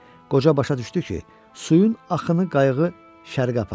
Qoca başa düşdü ki, suyun axını qayığı şərqə aparır.